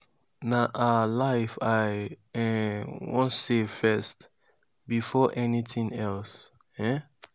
na her life i um wan save first before anything else. um